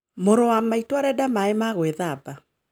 Mũrũ wa maitũ arenda maaĩ ma gwĩthamba